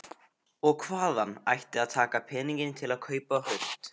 Og hvaðan ætti að taka peninga til að kaupa hund?